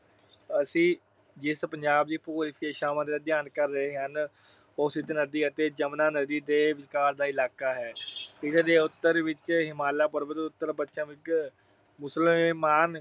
ਅਸੀਂ ਜਿਸ ਪੰਜਾਬ ਦੇ ਭੂਗੋਲਿਕ ਵਿਸ਼ੇਸ਼ਤਾਵਾਂ ਦਾ ਅਧਿਐਨ ਕਰ ਰਹੇ ਹਾਂ, ਉਹ ਸਿੰਧ ਨਦੀ ਅਤੇ ਜਮੁਨੀ ਨਦੀ ਦੇ ਵਿਚਕਾਰ ਦਾ ਇਲਾਕਾ ਹੈ। ਇਸ ਦੇ ਉੱਤਰ ਵਿੱਚ ਹਿਮਾਲਾ ਪਰਬਤ, ਉੱਤਰ ਪੱਛਮ ਵਿੱਚ ਸੁਲੇਮਾਨ